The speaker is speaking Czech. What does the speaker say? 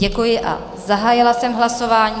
Děkuji a zahájila jsem hlasování.